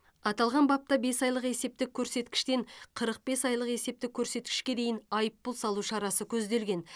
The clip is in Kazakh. аталған бапта бес айлық есептік көрсеткіштен қырық бес айлық есептік көрсеткішке дейін айыппұл салу шарасы көзделген